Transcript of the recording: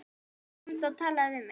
Komdu og talaðu við mig